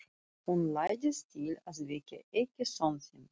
Hún læddist til að vekja ekki son sinn.